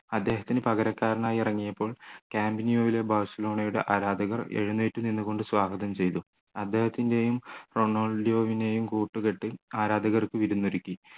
അദ്ദേഹത്തിന് പകരക്കാരനായി ഇറങ്ങിയപ്പോൾ camp nou ൽ ബാഴ്സലോണയുടെ ആരാധകർ എഴുന്നേറ്റു നിന്നുകൊണ്ട് സ്വാഗതം ചെയ്തു അദ്ദേഹത്തിൻ്റെ യും റൊണാൾഡിൻഹോയും കൂട്ടുകെട്ടിൽ ആരാധകർ വിരുന്നൊരുക്കി